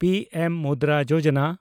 P M Mudra Yojana